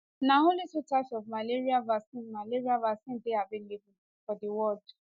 na only two types of malaria vaccine malaria vaccine dey available for di world